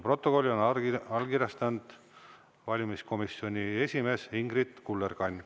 Protokolli on allkirjastanud valimiskomisjoni esimees Ingrid Kullerkann.